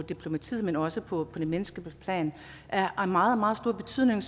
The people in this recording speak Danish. diplomatiet men også på det menneskelige plan er af meget meget stor betydning